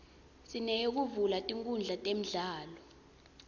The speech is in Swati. sineyekuvula tinkundla temidlalo